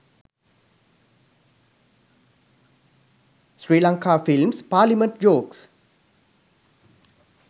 sri lanka films parliament jokes